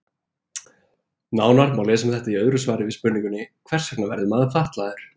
Nánar má lesa um þetta í öðru svari við spurningunni Hvers vegna verður maður fatlaður?